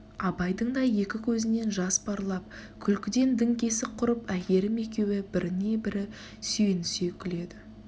абайдың да екі көзінен жас парлап күлкіден діңкесі құрып әйгерім екеуі біріне-бірі сүйенісе күледі